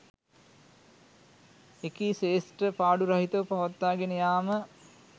එකී ක්‍ෂේත්‍ර පාඩු රහිතව පවත්වාගෙන යාම